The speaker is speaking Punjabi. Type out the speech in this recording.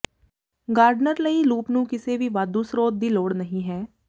ਗਾਰਡਨਰ ਲਈ ਲੂਪ ਨੂੰ ਕਿਸੇ ਵੀ ਵਾਧੂ ਸਰੋਤ ਦੀ ਲੋੜ ਨਹੀ ਹੈ